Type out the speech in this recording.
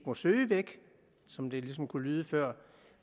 må søge væk som det ligesom kunne lyde før